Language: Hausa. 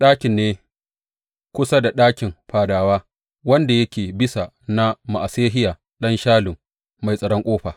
Ɗakin ne kusa da ɗakin fadawa, wanda yake bisa na Ma’asehiya ɗan Shallum mai tsaron ƙofa.